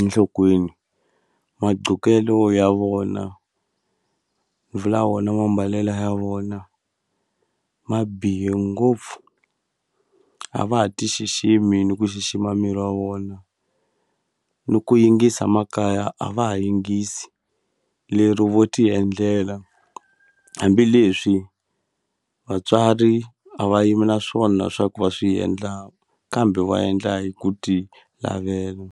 enhlokweni maqhokelo ya vona vula wona mambalele ya vona ma bihe ngopfu a va ha ti xiximi ni ku xixima miri wa vona ni ku yingisa makaya a va ha yingisi lero vo ti endlela hambileswi vatswari a va yimi na swona swa ku va swi endla kambe va endla hi ku ti lavela.